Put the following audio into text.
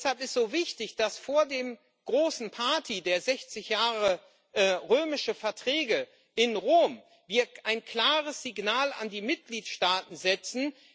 Deshalb ist so wichtig, dass wir vor der großen Party der 60 Jahre Römische Verträge in Rom ein klares Signal an die Mitgliedstaaten setzen.